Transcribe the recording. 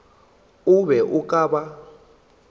o be o ka ba